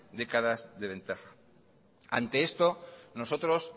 décadas de ventaja ante esto nosotros